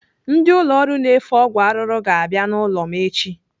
Ndị ụlọ ọrụ na-efe ọgwụ arụrụ ga-abịa n'ụlọ m echi.